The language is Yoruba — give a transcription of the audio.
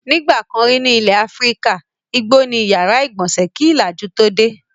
Nígbà kan rí ní ilẹ̀ Áfíríkà, igbó ni ó ìyàrá-ìgbọnsẹ̀ kí ìlàjú tó dé.